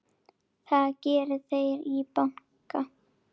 Það geri þeir í banka.